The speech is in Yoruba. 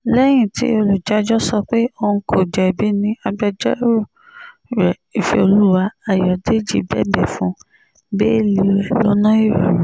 lẹ́yìn tí olùjẹ́jọ́ sọ pé òun kò jẹ̀bi ni agbẹjọ́rò rẹ̀ ìfẹ́olúwà ayọ̀dèjì bẹ̀bẹ̀ fún bẹ́ẹ́lí rẹ̀ lọ́nà ìrọ̀rùn